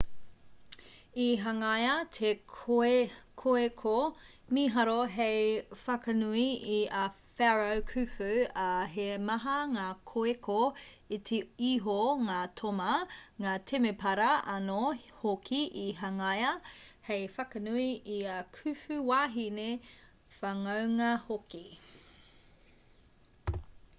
i hangaia te koeko mīharo hei whakanui i a pharaoh khufu ā he maha ngā koeko iti iho ngā toma ngā temepara anō hoki i hangaia hei whakanui i ā khufu wāhine whanaunga hoki